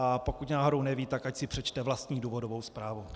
A pokud náhodou neví, tak ať si přečte vlastní důvodovou zprávu.